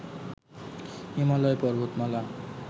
হিমালয় পর্বতমালা